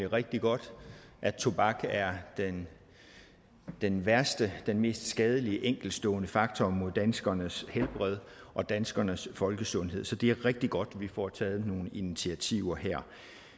rigtig godt at tobak er den værste den mest skadelige enkeltstående faktor mod danskernes helbred og danskernes folkesundhed så det er rigtig godt at vi får taget nogle initiativer her